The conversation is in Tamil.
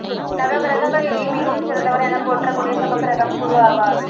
நவக்கிரகங்களிலே மிகவும் சிறந்தவர் எனப் போற்றக் கூடிய சுபக்கிரகம் குரு ஆவார்